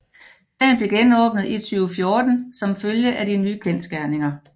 Sagen blev genåbnet i 2014 som følge af de nye kendsgerninger